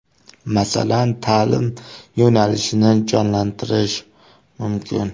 Masalan, ta’lim yo‘nalishini jonlantirish mumkin.